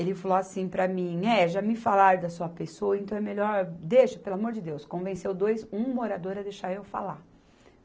Ele falou assim para mim, é, já me falaram da sua pessoa, então é melhor, deixa, pelo amor de Deus, convenceu dois, um morador a deixar eu falar.